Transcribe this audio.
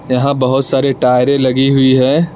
यहां बहोत सारे टायरे लगी हुई है।